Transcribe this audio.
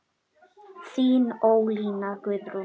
Þín Ólína Guðrún.